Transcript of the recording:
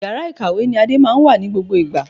Yàrá ìkàwé ni Ade máa ń wà ní gbogbo ìgbà